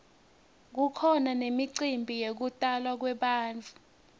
kukhona nemicimbi yekutalwa kwebantfu